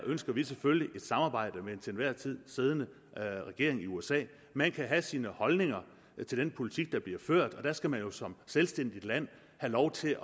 ønsker vi selvfølgelig et samarbejde med den til enhver tid siddende regering i usa man kan have sine holdninger til den politik der bliver ført og der skal man jo som selvstændigt land have lov til